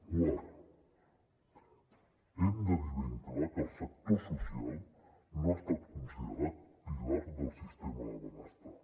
quart hem de dir ben clar que el sector social no ha estat considerat pilar del sistema de benestar